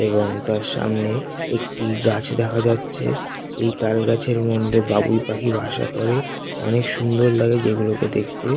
এবং তার সামনে একটি গাছ দেখা যাচ্ছে এই তাল গাছের মধ্যে বাবুই পাখি বাসা করে অনেক সুন্দর লাগে যেগুলোকে দেখতে ।